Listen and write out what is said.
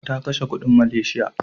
Ta kashe kuɗin Malaysia.